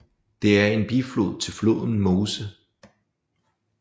Det er en biflod til floden Meuse